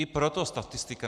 I proto statistika.